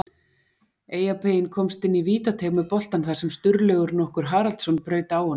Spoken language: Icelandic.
Eyjapeyinn komst inn í vítateig með boltann þar sem Sturlaugur nokkur Haraldsson braut á honum.